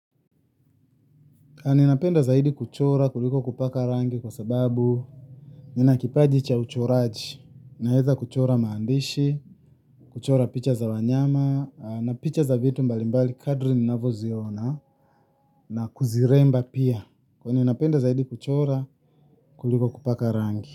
Ninapenda zaidi kuchora kuliko kupaka rangi kwa sababu nina kipaji cha uchoraji, naweza kuchora maandishi, kuchora picha za wanyama, na picha za vitu mbali mbali kadri ninavyoziona, na kuziremba pia, napenda zaidi kuchora kuliko kupaka rangi.